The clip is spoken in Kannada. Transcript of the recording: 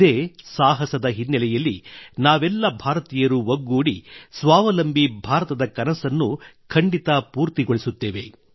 ಇದೇ ಸಾಹಸದ ಹಿನ್ನಲೆಯಲ್ಲಿ ನಾವೆಲ್ಲ ಭಾರತೀಯರೂ ಒಗ್ಗೂಡಿ ಸ್ವಾವಲಂಬಿ ಭಾರತದ ಕನಸನ್ನು ಖಂಡಿತ ಪೂರ್ತಿಗೊಳಿಸುತ್ತೇವೆ